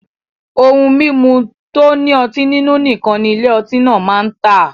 Ohun mimu to ni oti ninu nikan ni Ile oti naa maa n ta